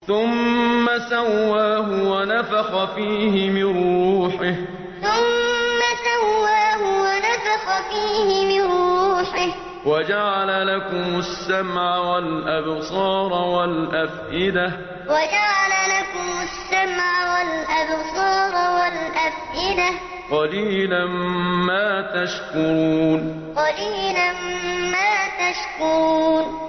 ثُمَّ سَوَّاهُ وَنَفَخَ فِيهِ مِن رُّوحِهِ ۖ وَجَعَلَ لَكُمُ السَّمْعَ وَالْأَبْصَارَ وَالْأَفْئِدَةَ ۚ قَلِيلًا مَّا تَشْكُرُونَ ثُمَّ سَوَّاهُ وَنَفَخَ فِيهِ مِن رُّوحِهِ ۖ وَجَعَلَ لَكُمُ السَّمْعَ وَالْأَبْصَارَ وَالْأَفْئِدَةَ ۚ قَلِيلًا مَّا تَشْكُرُونَ